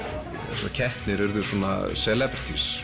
þessar keppnir urðu svona